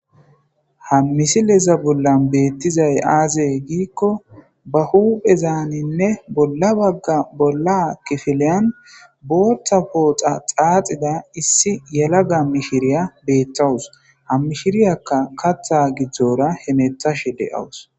ha misileza bollan beettizay aazee giikko ba huphezaaninne bolla bagga bolla kefeleyan booththa pooxa xaaxida issi yala ga mishiriya beethawus hammishiriyakka katha gidzdzora hemethashe de'awus